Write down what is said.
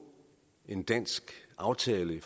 en dansk aftale